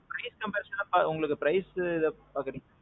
rate comparison எல்லாம். உங்களுக்கு price எப்படி பாக்குறீங்க?